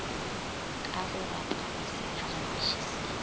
ka go rapama sephagamiši se